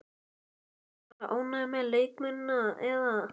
Allir bara ánægðir með leikmennina eða?